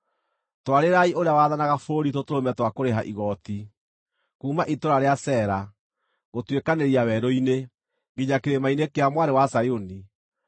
Twarĩrai ũrĩa wathanaga bũrũri tũtũrũme twa kũrĩha igooti, kuuma itũũra rĩa Sela, gũtuĩkanĩria werũ-inĩ, nginya kĩrĩma-inĩ kĩa Mwarĩ wa Zayuni.